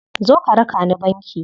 Zo ka raka ni banki.